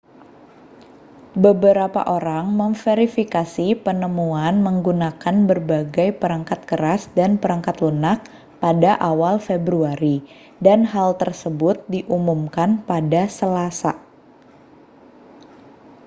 beberapa orang memverifikasi penemuan menggunakan berbagai perangkat keras dan perangkat lunak pada awal februari dan hal tersebut diumumkan pada selasa